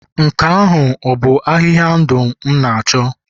nke ahụ bụ ahịhịa ndụ m na-achọ?